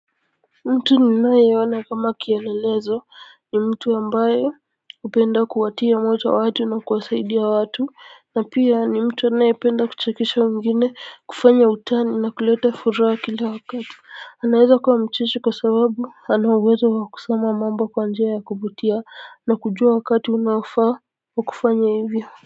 Mtu ninaye ona kama kielelezo ni mtu ambaye hupenda kuwatia moyo watu na kuwasaidia watu na pia ni mtu anayependa kuchekesha wengine kufanya utani na kuleta furaha kila wakatu. Anawaza kuwa mcheshi kwa sababu anauwezo wakusema mambo kwa njia ya kuvutia na kujua wakati unaofaa wakufanya hivyo.